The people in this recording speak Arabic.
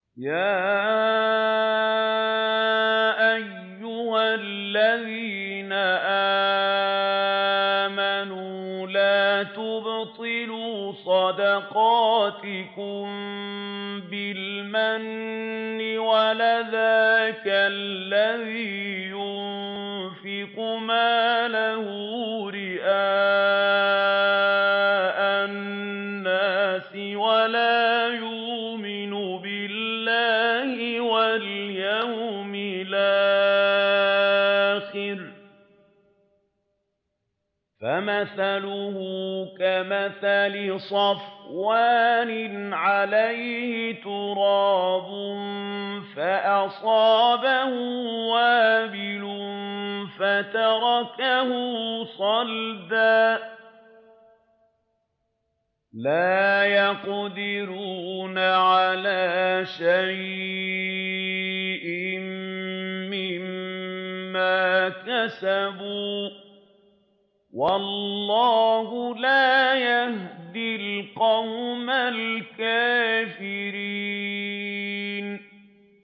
يَا أَيُّهَا الَّذِينَ آمَنُوا لَا تُبْطِلُوا صَدَقَاتِكُم بِالْمَنِّ وَالْأَذَىٰ كَالَّذِي يُنفِقُ مَالَهُ رِئَاءَ النَّاسِ وَلَا يُؤْمِنُ بِاللَّهِ وَالْيَوْمِ الْآخِرِ ۖ فَمَثَلُهُ كَمَثَلِ صَفْوَانٍ عَلَيْهِ تُرَابٌ فَأَصَابَهُ وَابِلٌ فَتَرَكَهُ صَلْدًا ۖ لَّا يَقْدِرُونَ عَلَىٰ شَيْءٍ مِّمَّا كَسَبُوا ۗ وَاللَّهُ لَا يَهْدِي الْقَوْمَ الْكَافِرِينَ